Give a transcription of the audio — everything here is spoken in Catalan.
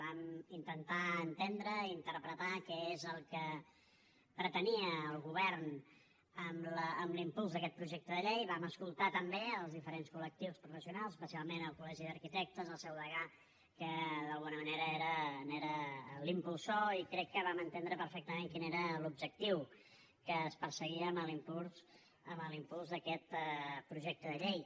vam intentar entendre i interpretar què és el que pretenia el govern amb l’impuls d’aquest projecte de llei vam escoltar també els diferents col·lectius professionals especialment el col·legi d’arquitectes el seu degà que d’alguna manera n’era l’impulsor i crec que vam entendre perfectament quin era l’objectiu que es perseguia amb l’impuls d’aquest projecte de llei